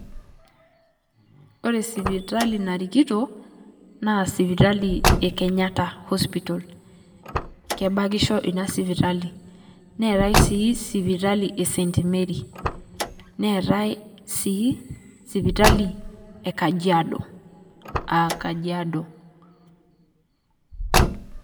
Ore sipitali narikito naa sipitali ee Kenyatta Hospital. Kebakisho ina sipatali. Neetai sii sipitali ee St. Mary neetae si sipitali ee Kajiado aa Kajiado.